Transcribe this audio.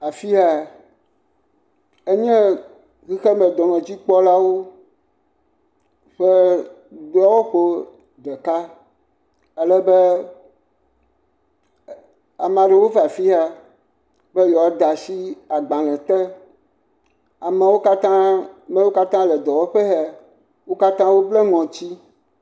Afi yaa, enye xexemedɔnɔdzikpɔlawo ƒe dɔwɔƒewo. Alebe, ɛ, ama ɖewo vaa fi ya be yewoa de ashi agbalẽ te. Amewo katã, me yiwo katã le dɔwɔƒe he, wo katã woblɛ ŋɔtsi.